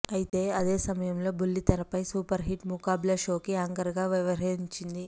అయితే అదే సమయంలో బుల్లితెరపై సూపర్ హిట్ ముఖబ్లా షోకి యాంకర్ గా వ్యవహరించింది